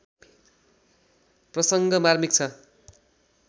प्रसङ्ग मार्मिक छ